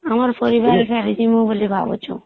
ଆମର ପରିବାର ସାରି ଯିବୁ ବୋଲି ଭାବୁଛେ